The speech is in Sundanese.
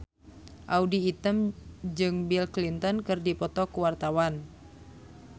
Audy Item jeung Bill Clinton keur dipoto ku wartawan